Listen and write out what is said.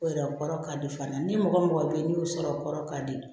O yɛrɛ o kɔrɔ ka di fana ni mɔgɔ mɔgɔ bɛ yen n'i y'o sɔrɔ o kɔrɔ ka di